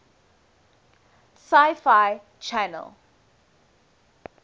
sci fi channel